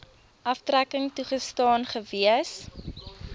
aftrekking toegestaan gewees